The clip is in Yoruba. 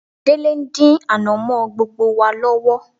Délé ń dín ànàmọ́ gbogbo wa lọ́wọ́